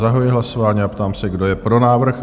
Zahajuji hlasování a ptám se, kdo je pro návrh?